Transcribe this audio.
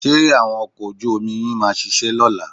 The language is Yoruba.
Ṣé àwọn ọkọ̀ ojú-omi yín máa ṣiṣẹ́ lọ́la?